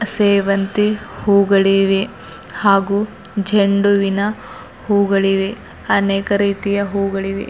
ಸೇವಂತಿ ಹೂಗಳಿವೆ ಹಾಗೂ ಚಂಡುವಿನ ಹೂಗಳಿವೆ ಅನೇಕ ರೀತಿಯ ಹೂಗಳಿವೆ.